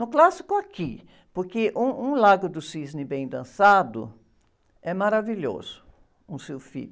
No clássico aqui, porque um, um Lago do Cisne bem dançado é maravilhoso, um Sylphide.